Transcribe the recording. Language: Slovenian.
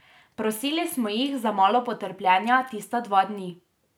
Prosili smo jih za malo potrpljenja tista dva dni.